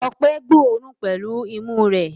Ọpẹ́ gbóòórùn pẹ̀lú imú rẹ̀.